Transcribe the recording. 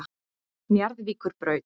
Njarðvíkurbraut